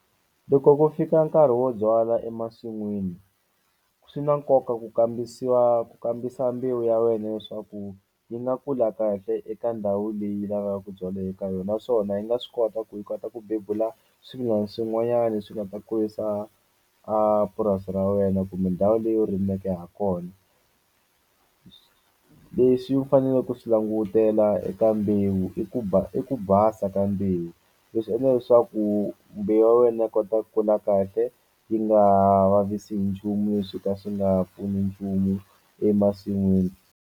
Loko ku fika nkarhi wo byala emasin'wini swi na nkoka ku kambisiwa ku kambisa mbewu ya wena leswaku yi nga kula kahle eka ndhawu leyi lavaku byala eka yona naswona yi nga swi kota ku yi kota ku bebula swimila swin'wanyani swi nga ta kurisa a purasi ra wena kumbe ndhawu leyi u rimeke hakona. leswi u fanele ku swi langutela eka mbewu i ku i ku basa ka mbewu leswi endla leswaku mbewu ya wena yi kota kula kahle yi nga vavisi hi nchumu leswo ka swi nga pfuni nchumu emasin'wini.